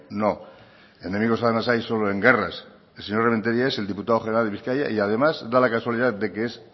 no enemigos además hay solo en guerras el señor rementeria es el diputado general de bizkaia y además da la casualidad de que es